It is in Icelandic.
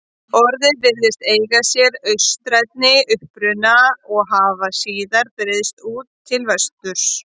Orðið virðist eiga sér austrænni uppruna og hafa síðar breiðst út til vesturs.